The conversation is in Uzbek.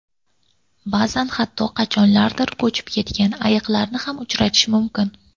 Ba’zan hatto qachonlardir cho‘kib ketgan qayiqlarni ham uchratish mumkin.